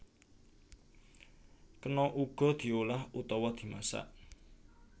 Kena uga diolah utawa dimasak